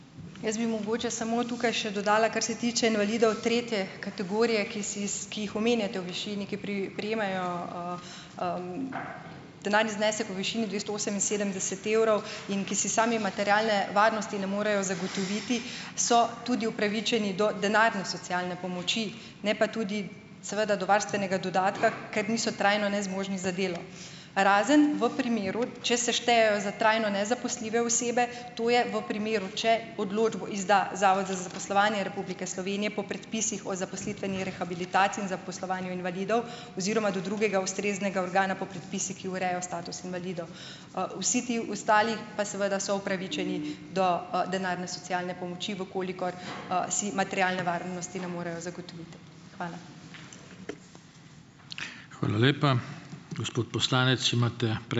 Jaz bi mogoče samo tukaj še dodala, kar se tiče invalidov tretje kategorije, ki ki jih omenjate, v višini, ki prejemajo, denarni znesek v višini dvesto oseminsedemdeset evrov in ki si sami materialne varnosti ne morejo zagotoviti, so tudi upravičeni do denarne socialne pomoči, ne pa tudi seveda do varstvenega dodatka, ker niso trajno nezmožni za delo. Razen v primeru, če se štejejo za trajno nezaposljive osebe, to je v primeru, če odločbo izda zavod za zaposlovanje Republike Slovenije po predpisih o zaposlitveni rehabilitaciji in zaposlovanju invalidov oziroma do drugega ustreznega organa po predpisih, ki urejajo status invalidov. Vsi ti ostali pa seveda so upravičeni do, denarne socialne pomoči, v kolikor, si materialne varnosti ne morejo zagotoviti. Hvala.